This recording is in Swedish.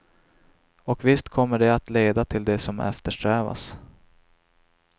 Och visst kommer det att leda till det som eftersträvas.